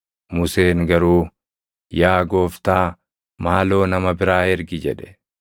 Museen garuu, “Yaa Gooftaa, maaloo nama biraa ergi” jedhe.